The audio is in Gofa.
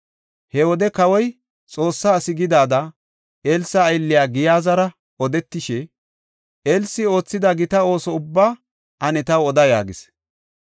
He wode kawoy Xoossaa asi gidida Elsa aylliya Giyaazara odetishe, “Elsi oothida gita ooso ubbaa ane taw oda” yaagis.